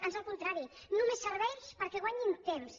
ans el contrari només serveix perquè guanyin temps